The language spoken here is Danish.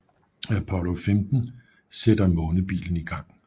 Apollo 15 sætter månebilen i gang